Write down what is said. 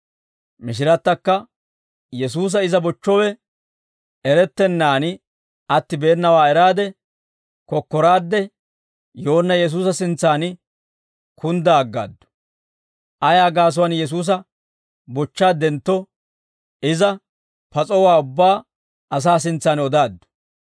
Mishirattakka, Yesuusa iza bochchowe erettennaan attibeenawaa eraade, kokkoraadde yoonna Yesuusa sintsan kunddaa aggaaddu. Ayaa gaasuwaan Yesuusa bochchaaddentto iza pas'owaa ubbaa asaa sintsan odaaddu.